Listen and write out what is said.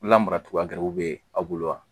Lamara cogoya wɛrɛ bɛ aw bolo wa